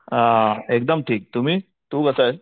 अ एकदम ठीक तुम्ही तू कसायस